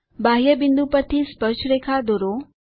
બાહ્ય બિંદુ પરથી સ્પર્શરેખા દોરો